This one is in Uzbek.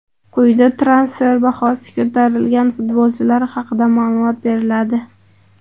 Quyida transfer bahosi ko‘tarilgan futbolchilar haqida ma’lumot beriladi.